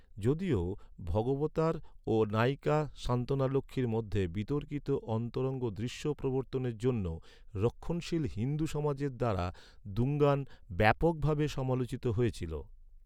যদিও, ভগবতার ও নায়িকা সান্তনালক্ষ্মীর মধ্যে বিতর্কিত অন্তরঙ্গ দৃশ্য প্রবর্তনের জন্য রক্ষণশীল হিন্দু সমাজের দ্বারা দুঙ্গান ব্যাপকভাবে সমালোচিত হয়েছিল।